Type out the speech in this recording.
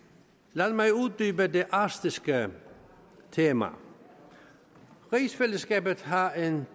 lad mig uddybe det arktiske tema rigsfællesskabet har en